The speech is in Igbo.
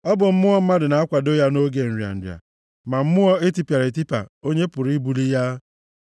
Ọ bụ mmụọ mmadụ na-akwado ya nʼoge nrịa nrịa, ma mmụọ e tipịara etipịa, onye pụrụ ibuli ya?